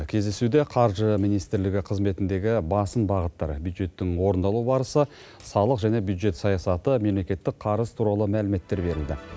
кездесуде қаржы министрлігі қызметіндегі басым бағыттар бюджеттің орындалу барысы салық және бюджет саясаты мемлекеттік қарыз туралы мәліметтер берілді